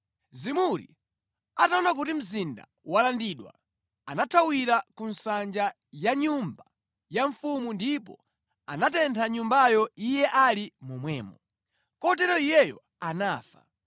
Zimuri ataona kuti mzinda walandidwa, anathawira ku nsanja ya nyumba ya mfumu ndipo anatentha nyumbayo iye ali momwemo. Kotero iyeyo anafa,